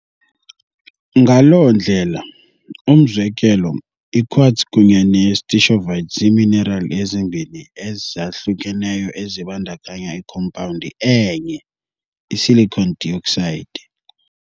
Ngaloo ndlela, umzekelo, i-quartz kunye ne-stishovite ziiminerali ezimbini ezahlukeneyo ezibandakanya ikhompawundi enye, i-silicon dioxide.